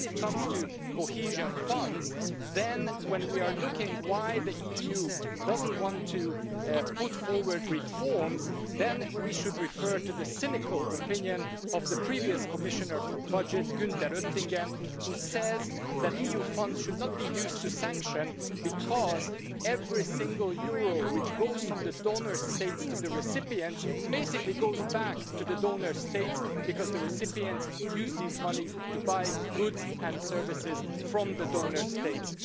When it comes to the Cohesion Fund, when we are looking at why the EU doesn't want to put forward reforms, then we should refer to the cynical opinion of the previous Commissioner for the Budget, Günther Oettinger, who says that EU funds should not be used to sanction, because every single euro which goes from the donor states to the recipients basically goes back to the donor states because the recipients use these monies to buy goods and services from the donor states.